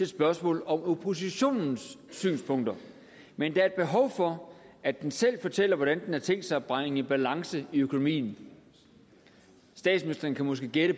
spørgsmål om oppositionens synspunkter men der er behov for at den selv fortæller hvordan den har tænkt sig at bringe balance i økonomien statsministeren kan måske gætte